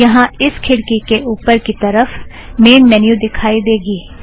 यहाँ इस खिड़की के उपर की तरफ़ मेन मॅन्यु दिखाई देगी